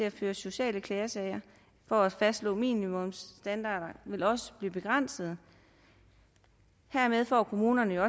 at føre sociale klagesager for at fastslå minimumsstandarder vil også blive begrænset hermed får kommunerne